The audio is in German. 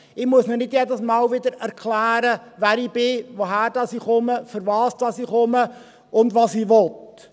Ich muss ihnen nicht jedes Mal wieder erklären, wer ich bin, woher ich komme, wofür ich komme und was ich will.